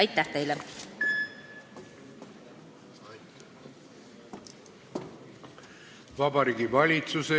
Austatud esimees!